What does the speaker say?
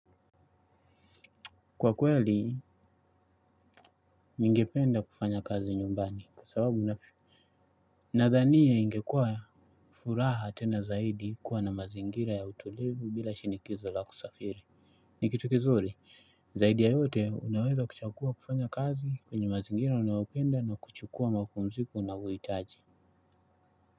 Kwa kweli ningependa kufanya kazi nyumbani kwa sababu unafi nadhani ya ingekuwa furaha tena zaidi kuwa na mazingira ya utulivu bila shinikizo la kusafiri ni kitu kizuri zaidi ya yote unaweza kuchakua kufanya kazi kwenye mazingira unaopenda na kuchukua mapumziku unawuitaji.